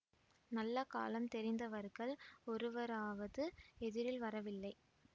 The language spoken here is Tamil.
நல்ல காலம் தெரிந்தவர்கள் ஒருவராவது எதிரில் வரவில்லை